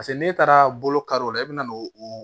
Paseke n'e taara bolo karɔ o la e bɛ na n'o o